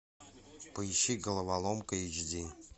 поищи головоломка эйч ди